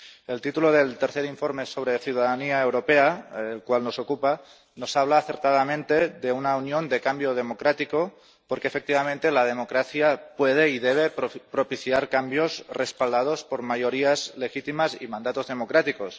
El título del tercer informe sobre ciudadanía europea, el cual nos ocupa, nos habla acertadamente de una unión de cambio democrático, porque, efectivamente, la democracia puede y debe propiciar cambios respaldados por mayorías legítimas y mandatos democráticos.